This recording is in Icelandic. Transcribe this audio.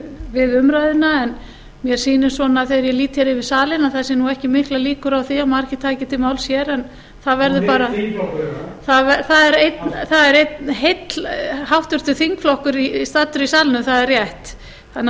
við umræðuna en mér sýnist svona þegar ég lít hér yfir salinn að það séu nú ekki miklar líkur á því að margir taki til máls hér það er einn þingflokkur hérna en það er einn háttvirtur þingflokkur staddur í salnum það er rétt þannig að það